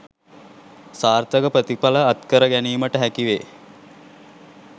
සාර්ථක ප්‍රතිඵල අත්කර ගැනීමට හැකි වේ